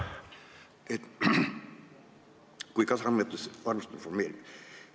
... segada kui kasarmutes reservüksuste formeerimist.